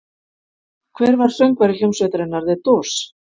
Hver var söngvari hljómsveitarinnar The Doors?